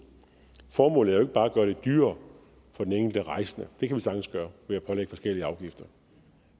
formålet er bare at gøre det dyrere for den enkelte rejsende det kan man sagtens gøre ved at pålægge forskellige afgifter